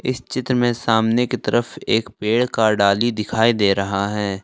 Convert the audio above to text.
इस चित्र में सामने की तरफ एक पेड़ का डाली दिखाई दे रहा है।